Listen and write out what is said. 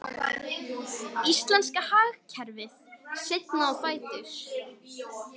Íslenska hagkerfið seinna á fætur